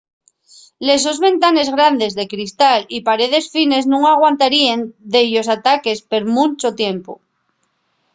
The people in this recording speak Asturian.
les sos ventanes grandes de cristal y paredes fines nun aguantaríen dellos ataques per munchu tiempu